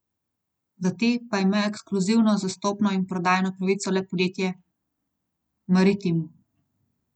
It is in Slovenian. Za te pa ima ekskluzivno zastopno in prodajno pravico le podjetje Maritim.